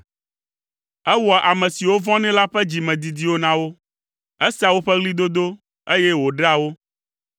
Ewɔa ame siwo vɔ̃nɛ la ƒe dzimedidiwo na wo, esea woƒe ɣlidodo, eye wòɖea wo.